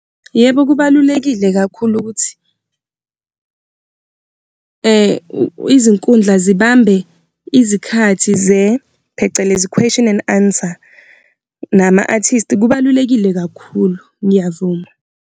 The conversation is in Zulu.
Yebo, kubalulekile kakhulu ukuthi izinkundla zibambe izikhathi phecelezi question and answer nama-artist, kubalulekile kakhulu. Ngiyavuma.